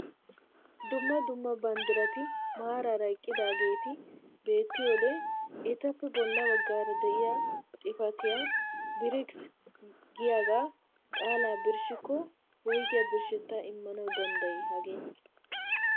Dumma dumma banddirati maaraara eqqidaageti beettiyoode etappe bolla baggaara de'iyaa xifatiyaa "BRICS" giyaagaa qaalaa birshshikko woygiyaa birshshettaa immanawu danddayii hagee?